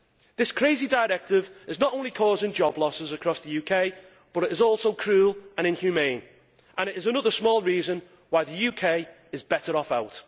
This crazy directive is not only causing job losses across the UK, but it is also cruel and inhumane and it is another small reason why the UK is better off out.